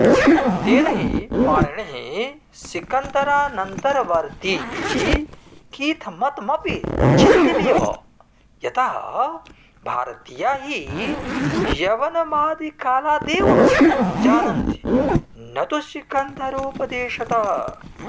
तेन हि पाणिनिः सिकन्दरानन्तरवर्तीति कीथमतमपि चिन्त्यमेव यतः भारतीया हि यवनमादिकालादेव जानन्ति न तु सिकन्दरोपदेशतः